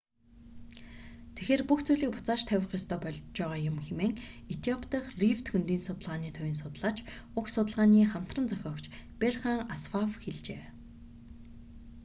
тэгэхээр бүх зүйлийг буцааж тавих ёстой болж байгаа юм хэмээн этиоп дахь рифт хөндийн судалгааны төвийн судлаач уг судалгааны хамтран зохиогч берхан асфав хэлжээ